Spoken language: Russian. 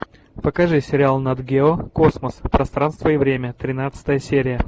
покажи сериал нат гео космос пространство и время тринадцатая серия